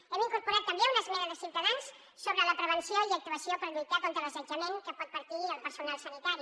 hem incorporat també una esmena de ciutadans sobre la prevenció i actuació per lluitar contra l’assetjament que pot patir el personal sanitari